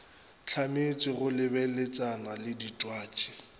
hlametšwe go lebeletšana le ditwatši